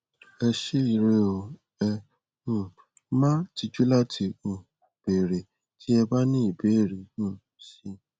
ẹ ṣé ire o ẹ um má tijú láti um béèrè tí ẹ bá ní ìbéèrè um si